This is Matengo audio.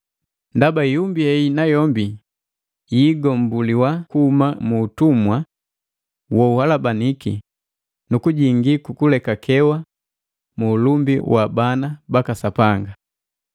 ndaba ihumbi hei nayombi yiigombuliwa kuhuma mu utumwa wo uhalabanika, nukujingi ukulekakewa mu ulumbi wa bana baka Sapanga.